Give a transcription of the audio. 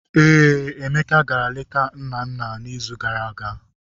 Ee, Emeka gara leta nna nna n'izu gara aga.